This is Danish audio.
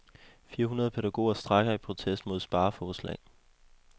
Fire hundrede pædagoger strejker i protest mod spareforslag.